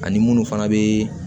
Ani munnu fana bee